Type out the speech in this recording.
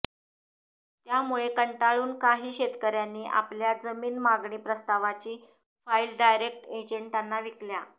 त्यामुळे कंटाळून काही शेतकऱ्यांनी आपल्या जमीन मागणी प्रस्तावाची फाईल डायरेक्ट एजंटांना विकल्या